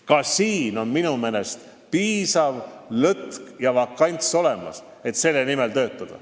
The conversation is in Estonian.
Ka siin on minu meelest piisav lõtk ja vakants olemas, et selle nimel töötada.